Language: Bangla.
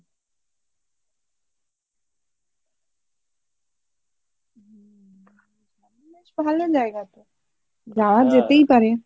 ভালো জায়গা তো যাওয়া যেতেই পারে